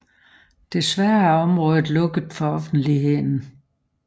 Desværre er området lukket for offentligheden